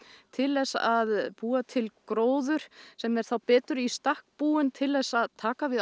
til þess að búa til gróður sem er þá betur í stakk búinn til þess að taka við